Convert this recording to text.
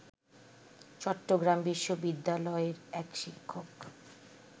চট্টগ্রাম বিশ্ববিদ্যালয়ের এক শিক্ষক